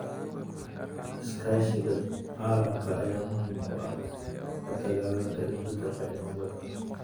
Iskaashiga caalamiga ah ayaa muhiim u ah la dagaallanka isbedelka cimilada.